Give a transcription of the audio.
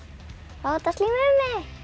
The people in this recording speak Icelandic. fá þetta slím mig